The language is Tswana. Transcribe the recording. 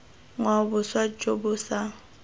ngwao boswa jo bo sa